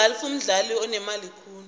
igalfu mdlalo onemali khulu